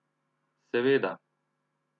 Seveda.